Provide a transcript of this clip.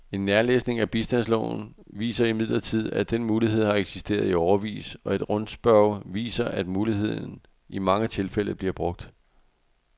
En nærlæsning af bistandsloven viser imidlertid, at den mulighed har eksisteret i årevis, og et rundspørge viser, at muligheden i mange tilfælde bliver brugt.